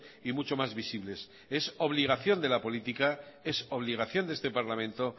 y mucho más visibles es obligación de la política es obligación de este parlamento